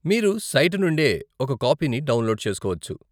మీరు సైటు నుండే ఒక కాపీని డౌన్లోడ్ చేసుకోవచ్చు.